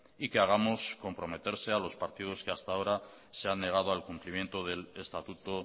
y que hagamos comprometerse a los partidos que hasta ahora se han negado al cumplimiento del estatuto